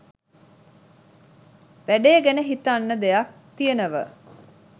වැඩේ ගැන හිතන්න දෙයක් තියනව.